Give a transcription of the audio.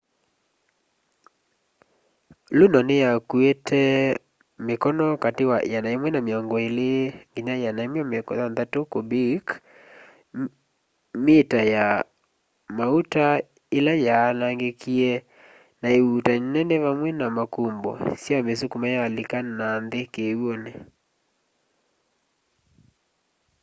luno niyakuite mikono kati wa 120-160 kubik mita ya mauta ila yaanangikie na iuutani nene vamwe na makumbo syamisukuma yalika nanthi kiw'uni